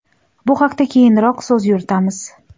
Bu haqda keyinroq so‘z yuritamiz.